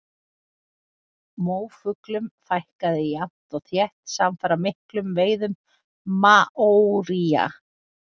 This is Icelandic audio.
Móafuglum fækkaði jafnt og þétt samfara miklum veiðum maóría.